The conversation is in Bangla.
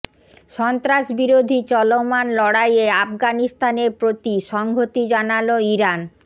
সন্ত্রাস বিরোধী চলমান লড়াইয়ে আফগানিস্তানের প্রতি সংহতি জানাল ইরান